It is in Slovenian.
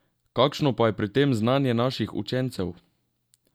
Kakšno pa je pri tem znanje naših učencev?